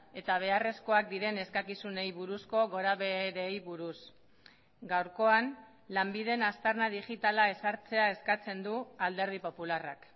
eta beharrezkoak diren eskakizunei buruzko gorabeherei buruz gaurkoan lanbiden aztarna digitala ezartzea eskatzen du alderdi popularrak